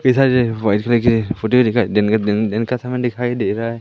Voice लेके दिन का दिन दिन का समय दिखाई दे रहा हैं।